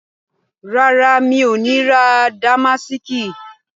Rárá, mi ò ní ra Damásìkì